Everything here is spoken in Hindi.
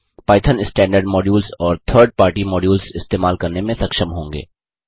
पाइथन स्टैन्डर्ड मॉड्यूल्स और 3आरडी पार्टी मॉड्यूल्स इस्तेमाल करने में सक्षम होंगे